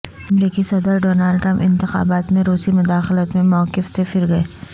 امریکی صدر Donald Trump انتخابات میں روسی مداخلت پر موقف سے پھرگئے